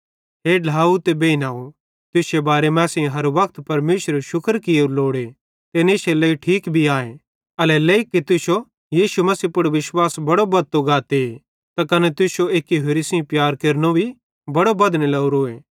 हे ढ्लाव ते बेइनव तुश्शे बारे मां असेईं हर वक्त परमेशरेरू शुक्र कियेरू लोड़े ते इन इश्शे लेइ ठीक भी आए एल्हेरेलेइ कि तुश्शो यीशु मसीह पुड़ विश्वास बड़ो बद्धतो गाते त कने तुश्शो एक्की होरि सेइं प्यार केरनो भी बड़ो बद्धने लोरोए